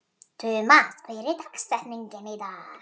Tumas, hver er dagsetningin í dag?